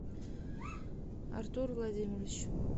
артур владимирович